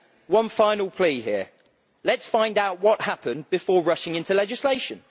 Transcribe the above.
of TTIP. One final plea here let us find out what happened before rushing into legislation.